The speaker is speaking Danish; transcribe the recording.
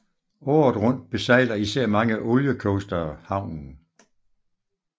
Året rundt besejler især mange oliecoastere havnen